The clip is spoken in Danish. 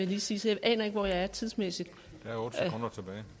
lige sige så jeg aner ikke hvor jeg er tidsmæssigt okay